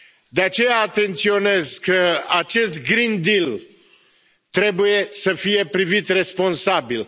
De aceea, atenționez că acest Green Deal trebuie să fie privit responsabil.